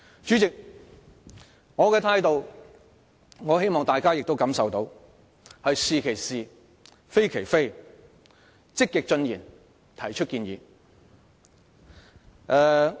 主席，我希望大家感受到我的態度是"是其是，非其非"，積極進言，提出建議。